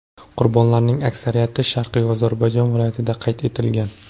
Qurbonlarning aksariyati Sharqiy Ozarbayjon viloyatida qayd etilgan.